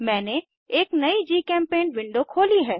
मैंने एक नयी जीचेम्पेंट विंडो खोली है